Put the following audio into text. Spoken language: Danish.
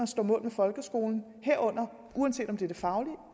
står mål med folkeskolen uanset om det gælder det faglige